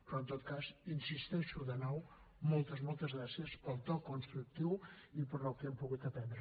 però en tot cas hi insisteixo de nou moltes moltes gràcies pel to constructiu i pel que hem pogut aprendre